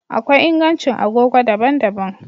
Akwai ingancin agogo daban-daban